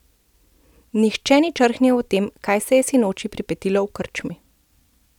Nihče ni črhnil o tem, kaj se je sinoči pripetilo v krčmi.